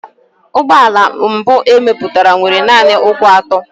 Ụgbọ ala mbụ e mepụtara nwere nanị ụkwụ atọ.